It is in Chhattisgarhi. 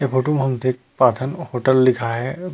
ये फोटू में हम देख पाथन होटल लिखाए हे।